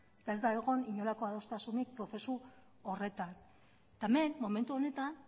eta ez da egon inolako adostasunik prozesu horretan eta hemen momentu honetan